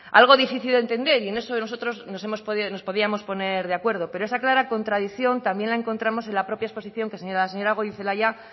algo difícil de entender y en eso nosotros nos hemos nos podíamos poner de acuerdo pero esa clara contradicción también la encontramos en la propia exposición que la señora goirizelaia